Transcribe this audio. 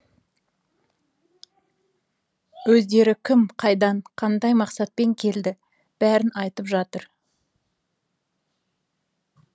өздері кім қайдан қандай мақсатпен келді бәрін айтып жатыр